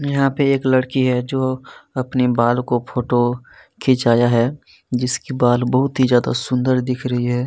यहाँ पे एक लड़की है जो अपने बाल को फोटो खींचाया है जिसकी बाल बहुत ही ज्यादा सुंदर दिख रही है।